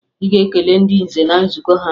Ị ga-aga kelee ndị nze na nzukọ ha!